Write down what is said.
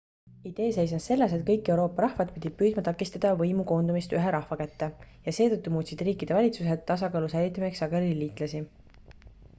idee seisnes selles et kõik euroopa rahvad pidid püüdma takistada võimu koondumist ühe rahva kätte ja seetõttu muutsid riikide valitsused tasakaalu säilitamiseks sageli liitlasi